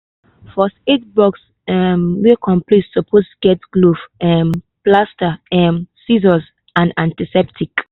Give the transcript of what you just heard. first aid box um wey complete suppose get glove um plaster um scissors and antiseptic